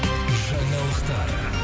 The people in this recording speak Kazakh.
жаңалықтар